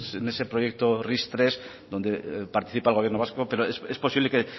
en ese proyecto ris tres donde participa el gobierno vasco pero es posible que